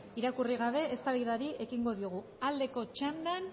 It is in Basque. irakurri gabe eztabaidari ekingo diogu aldeko txandan